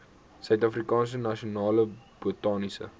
suidafrikaanse nasionale botaniese